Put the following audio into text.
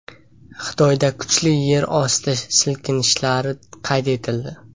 Xitoyda kuchli yer osti silkinishlari qayd etildi.